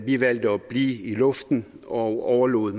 vi valgte at blive i luften og overlod